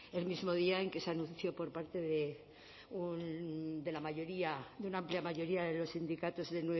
el mismo día en que se anunció por parte de la mayoría de una amplia mayoría de los sindicatos de